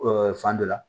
fan dɔ la